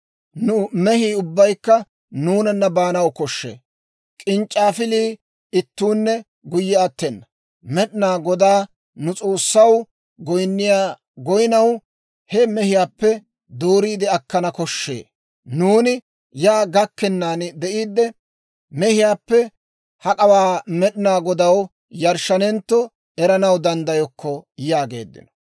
Nu mehii ubbaykka nuunana baanaw koshshee; k'inc'c'aafile ittuunne guyye attena. Med'inaa Godaa, nu S'oossaw, goynniyaa goynnaw he mehiyaappe dooriide akkanaw koshshee; nuuni yaa gakkennaan de'iidde, mehiyaappe hak'awaa hak'awaa Med'inaa Godaw yarshshanentto eranaw danddayokko» yaageedda.